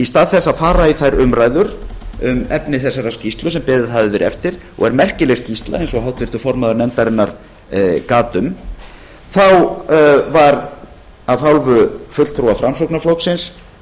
í stað þess að fara í þær umræður um efni þessarar skýrslu sem beðið hafði verið eftir og er merkileg skýrsla eins og háttvirtur formaður nefndarinnar gat um var af hálfu fulltrúa framsóknarflokksins